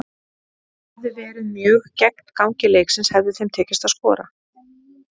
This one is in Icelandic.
Það hefði verið mjög gegn gangi leiksins hefði þeim tekist að skora.